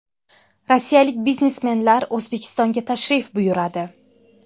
Rossiyalik biznesmenlar O‘zbekistonga tashrif buyuradi.